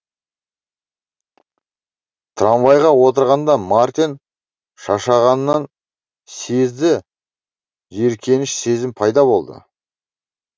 трамвайға отырғанда мартин шаршағанын сезді жиіркеніш сезім пайда болды